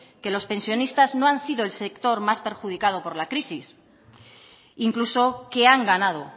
que los pensionistas no han sido el sector más perjudicado por la crisis incluso que han ganado